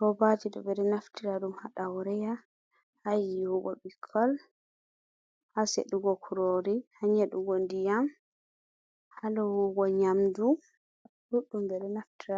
robaaji ɗo ɓeɗo naftira ɗum ha ɗawreya, ha yiwugo bikkoi, ha seɗugo krori, ha nyedugo ndiyam, ha lowugo nyamdu, ɗuɗɗum be naftira